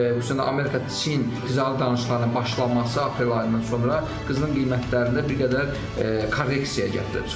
Xüsusən də Amerika-Çin ticarət danışıqlarının başlaması aprel ayının sonra qızılın qiymətlərində bir qədər korreksiya gətirib çıxarıb.